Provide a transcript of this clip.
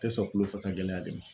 Tɛ sɔn kulofasa gɛlɛya de ma.